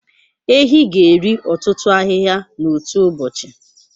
Ehi ga-eri ọtụtụ ahịhịa n'otu ụbọchị.